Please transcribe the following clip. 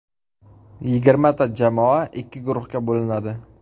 Yigirmata jamoa ikki guruhga bo‘linadi.